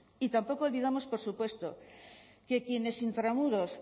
y tampoco olvidamos por supuesto que quienes entre muros